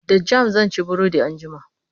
da jam sanci burodi anjima